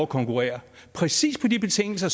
konkurrere præcis på de betingelser